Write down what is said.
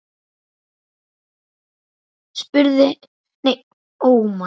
Hverjum hentar hún best?